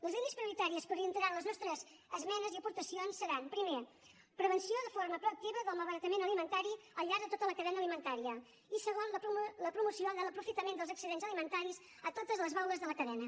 les línies prioritàries que orientaran les nostres esmenes i aportacions seran primer prevenció de forma proactiva del malbaratament alimentari al llarg de tota la cadena alimentària i segon la promoció de l’aprofitament dels excedents alimentaris a totes les baules de la cadena